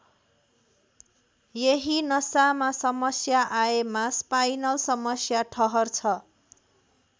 यही नसामा समस्या आएमा स्पाइनल समस्या ठहर्छ।